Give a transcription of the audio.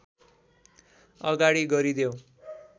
अगाडि गरिदेऊ